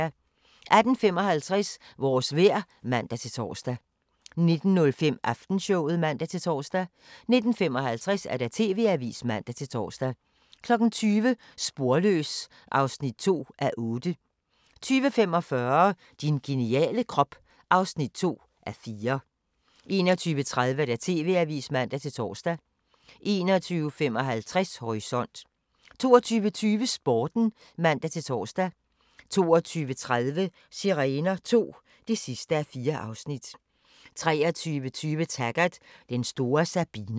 18:55: Vores vejr (man-tor) 19:05: Aftenshowet (man-tor) 19:55: TV-avisen (man-tor) 20:00: Sporløs (2:8) 20:45: Din geniale krop (2:4) 21:30: TV-avisen (man-tor) 21:55: Horisont 22:20: Sporten (man-tor) 22:30: Sirener II (4:4) 23:20: Taggart: Den store Sabina